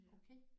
Okay